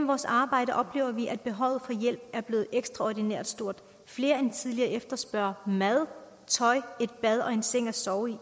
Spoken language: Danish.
vores arbejde oplever vi at behovet for hjælp er blevet ekstraordinært stort flere end tidligere efterspørger mad tøj et bad og en seng at sove i